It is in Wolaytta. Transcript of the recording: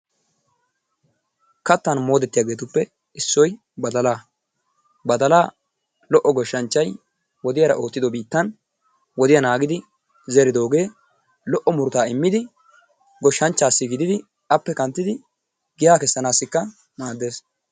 Kattan moodettiyaagetuppe issoy badalaa. Badalaa lo"o goshshnchchay wodiyaara oottido biittan wodiyaa naagidi zeridoogee lo"o murutaa immidi goshshanchaassi gididi appe kanttidi giyaa kessanaassikka maaddees.